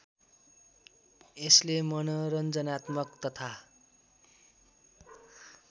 यसले मनोरञ्जनात्मक तथा